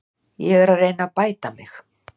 Ég er að reyna að bæta mig.